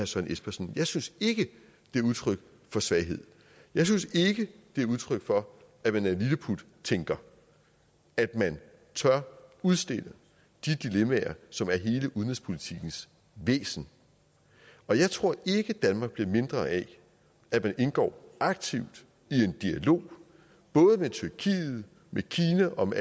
søren espersen jeg synes ikke det er udtryk for svaghed jeg synes ikke det er udtryk for at man er en lilleputtænker at man tør udstille de dilemmaer som er hele udenrigspolitikkens væsen og jeg tror ikke danmark bliver mindre af at man indgår aktivt i en dialog både med tyrkiet med kina og med